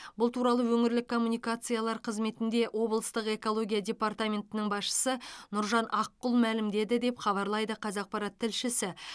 бұл туралы өңірлік коммуникациялар қызметінде облыстық экология департаментінің басшысы нұржан аққұл мәлімдеді деп хабарлайды қазақпарат тілшісі